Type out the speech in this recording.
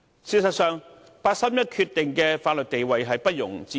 事實上，八三一的法律地位不容置疑。